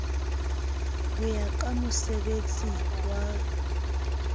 ho ya ka mosebettsi wa